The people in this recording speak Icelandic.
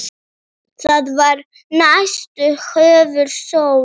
Það var nistið hennar Sólu.